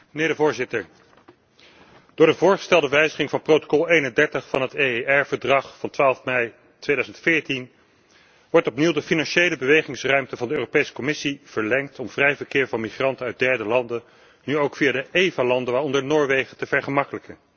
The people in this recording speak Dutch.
Door de voorgestelde wijziging van Protocol 31 bij de EER overeenkomst van 12 mei 2014 wordt opnieuw de financiële bewegingsruimte van de Europese Commissie verlengd om vrij verkeer van migranten uit derde landen nu ook via de EVA landen, waaronder Noorwegen, te vergemakkelijken.